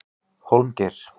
Hólmgeir